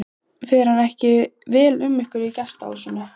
Fer ekki vel um ykkur í gestahúsinu?